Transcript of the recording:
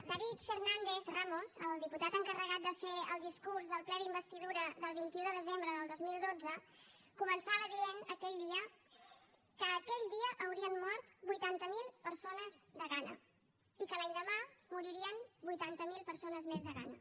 david fernàndez ramos el diputat encarregat de fer el discurs del ple d’investidura del vint un de desembre del dos mil dotze començava dient aquell dia que aquell dia haurien mort vuitanta mil persones de gana i que l’endemà moririen vuitanta mil persones més de gana